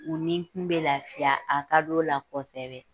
O nikun bɛ lafiya, a ka d'o la kosɛbɛ.